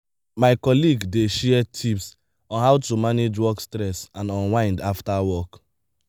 my colleague dey share tips on how to manage work stress and unwind after work.